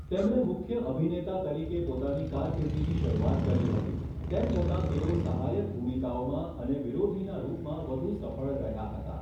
તેમણે મુખ્ય અભિનેતા તરીકે પોતાની કારકિર્દીની શરૂઆત કરી હતી, તેમ છતાં તેઓ સહાયક ભૂમિકાઓમાં અને વિરોધીના રૂપમાં વધુ સફળ રહ્યા હતા.